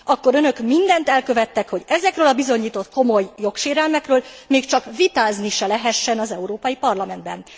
Akkor Önök mindent elkövettek, hogy ezekről a bizonyított komoly jogsérelmekről még csak vitázni se lehessen az Európai Parlamentben.